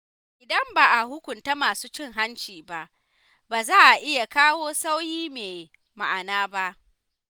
Idan ba a hukunta masu cin hanci ba, ba za a iya kawo sauyi mai ma’ana ba.